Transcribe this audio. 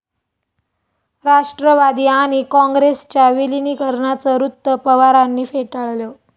राष्ट्रवादी आणि काँग्रेसच्या विलिनीकरणाचं वृत्त पवारांनी फेटाळलं